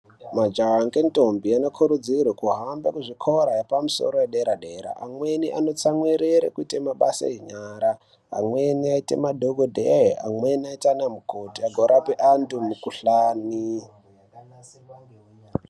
Majaya ne ntombi vanokurudzirwa kuenda kuzvikora zvepamusoro zvedera-dera .Amweni anotsamwirera kuita mabasa enyara. Amweni aite madhokodhera ,amweni aite ana mukoti azorape antu mukhuhlani.